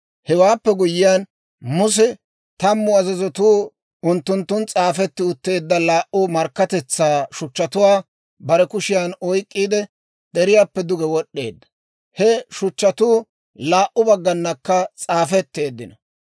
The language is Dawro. Hewaappe guyyiyaan Muse tammu azazatuu unttunttun s'aafetti utteedda laa"u Markkatetsaa shuchchatuwaa bare kushiyaan oyk'k'iide, deriyaappe duge wod'd'eedda. He shuchchatuu laa"u bagganakka s'aafetteeddino.